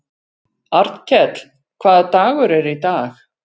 Arnkell, hvaða dagur er í dag?